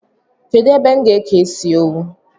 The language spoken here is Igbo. Kedụ ebe m ga-eke ịsị owu?